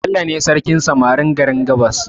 Bello ne sarkin samarin garin gabas